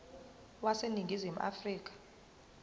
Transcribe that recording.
wase ningizimu afrika